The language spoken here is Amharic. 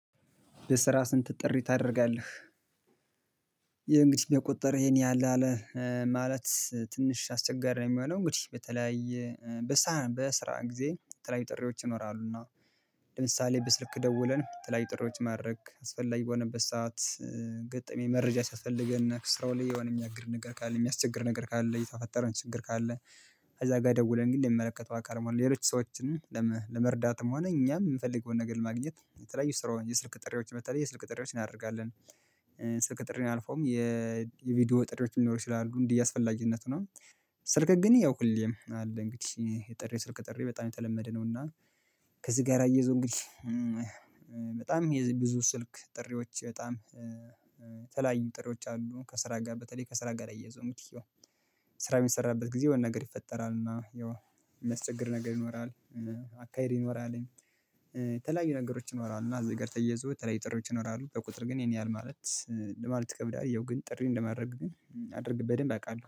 በስራ ስንት ጥሪ ታደርጋለህ? ይሄ እንግዲህ በቁጥር ይሄን ያህል አለ። ማለት ትንሽ አስቸጋሪ ነው የሚሆነው እንግዲህ በተለያየ በስራ ጊዜ በተለያዩ ጥሪዎች ይኖራሉና። ለምሳሌ በስልክ ደውለን የተለያዩ ጥሪዎችን ማድረግ አስፈላጊ በሆነበት ሰዓት። ገጠመኝ መረጃ ሲያስፈልገነ እና ከስራው ላይ የሆነ የሚያግርድ ነገር ካለ የሚያስቸግር ነገር ካለ የተፈጠረውን ችግር ካለ። እዛ ጋር ደውለን ግን የሚመለከተው አካል ነው ሌሎች ሰዎችን። ለመርዳትም ሆነ እኛም የምፈልገውን ነገር ለማግኘት የተለያዩ ስራውን የስልክ ጥሪዎች በተለይ የስልክ ጥሪዎችን እናደርጋለን። ስልክ ጥሪን አልፈውም። የቪዲዮ ጥሪዎች ሊኖሩ ይችላሉ እንደየ አስፈላጊነቱ ነው። ስልክ ግን ያው ሁሌም አለ እንግዲህ የጥሪ ስልክ ጥሪ በጣም የተለመደ ነውና። ከዚህ ጋር አያይዞ እንግዲህ በጣም የብዙ ስልክ ጥሪዎች በጣም የተለያዩ ጥሪዎች አሉ። ከስራ ጋር በተለይ ከስራ ጋር አያይዘው እንግዲህ ስራ የሚሰራበት ጊዜ የሆነነገር ይፈጠራል እና ያው ሚያስቸግር ነገር ይኖራል። አካሄድ ይኖራል። የተለያዩ ነገሮች ይኖራሉ እና እዚህ ጋር ተያይዞ የተለያዩ ጥሪዎች ይኖራሉ በቁጥር ግን ይሄን ያህል ማለት ለማለት ይከብዳል። ያው ግን ጥሪ እንደማድረግ ግን አድርግ በደንብ አውቃለሁ